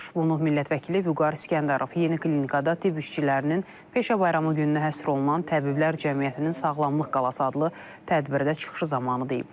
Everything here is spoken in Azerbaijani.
Bunu millət vəkili Vüqar İsgəndərov Yeni klinikada tibb işçilərinin peşə bayramı gününə həsr olunan təbiblər cəmiyyətinin sağlamlıq qalası adlı tədbirdə çıxışı zamanı deyib.